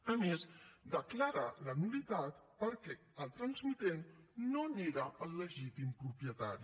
a més declara la nul·litat perquè el transmitent no n’era el legítim propietari